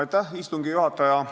Austatud istungi juhataja!